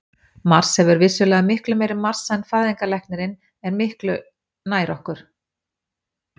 Mars hefur vissulega miklu meiri massa en fæðingarlæknirinn er miklu nær okkur.